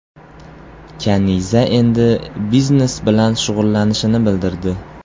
Kaniza endi biznes bilan shug‘ullanishini bildirdi.